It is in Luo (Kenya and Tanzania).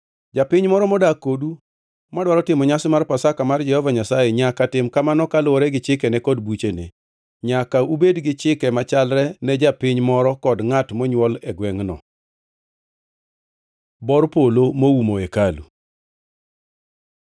“ ‘Japiny moro modak kodu madwaro timo nyasi mar Pasaka mar Jehova Nyasaye nyaka tim kamano kaluwore gi chikene kod buchene. Nyaka ubed gi chike machalre ne japiny moro kod ngʼat monywol e gwengʼno.’ ” Bor polo moumo hekalu